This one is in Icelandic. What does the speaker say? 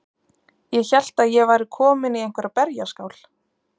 Ég hélt að ég væri komin í einhverja berjaskál.